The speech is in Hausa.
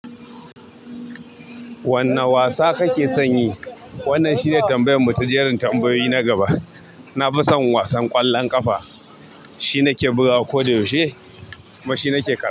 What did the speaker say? Wanne wasa kake son yi? Wannan shi ne tambayan mu ta jerin tambayoyi na gaba na fi son wasan ƙwallon ƙafa. Shi nake bugawa ko da yaushe kuma shi nake kallo.